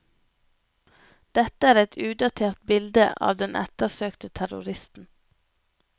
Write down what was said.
Dette er et udatert bilde av den ettersøkte terroristen.